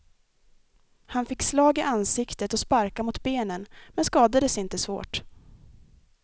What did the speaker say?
Han fick slag i ansiktet och sparkar mot benen, men skadades inte svårt.